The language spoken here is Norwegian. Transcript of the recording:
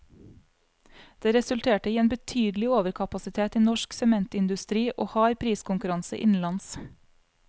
Det resulterte i en betydelig overkapasitet i norsk sementindustri og hard priskonkurranse innenlands.